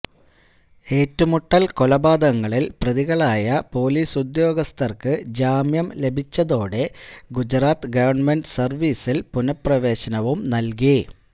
ഏറ്റുമുട്ടല് കൊലപാതകങ്ങളില് പ്രതികളായ പൊലീസുദ്യോഗസ്ഥര്ക്ക് ജാമ്യം ലഭിച്ചതോടെ ഗുജറാത്ത് ഗവണ്മെന്റ് സര്വീസില് പുനഃപ്രവേശനവും നല്കി